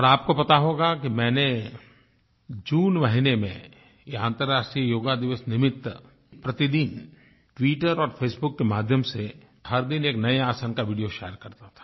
और आपको पता होगा कि मैं जून महीने में अन्तर्राष्ट्रीय योग दिवस निमित्त प्रतिदिन ट्विटर और फेसबुक के माध्यम से हर दिन एक नये आसन का वीडियो शेयर करता था